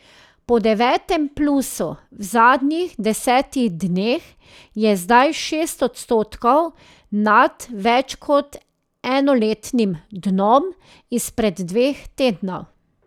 Po devetem plusu v zadnjih desetih dneh je zdaj šest odstotkov nad več kot enoletnim dnom izpred dveh tednov.